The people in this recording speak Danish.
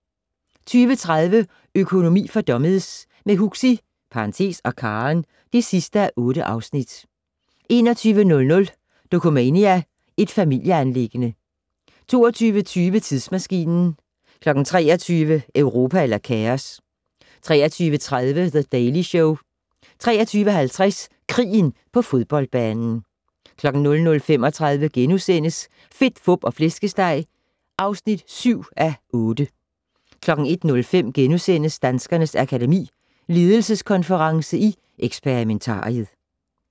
20:30: Økonomi for dummies - med Huxi (og Karen) (8:8) 21:00: Dokumania: Et familieanliggende 22:20: Tidsmaskinen 23:00: Europa eller kaos? 23:30: The Daily Show 23:50: Krigen på fodboldbanen 00:35: Fedt, Fup og Flæskesteg (7:8)* 01:05: Danskernes Akademi: Ledelseskonference i Experimentariet *